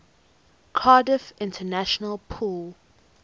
cardiff international pool